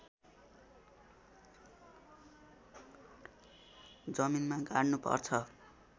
जमिनमा गाड्नु पर्छ